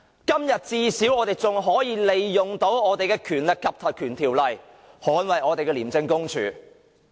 至少今天我們仍可利用我們的《條例》捍衞我們的廉署。